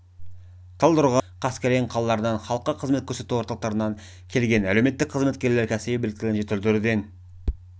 талдықорған текелі талғар қаскелең қалаларынан халыққа қызмет көрсету орталықтарынан келген әлеуметтік қызметкерлер кәсіби біліктілігін жетілдіруден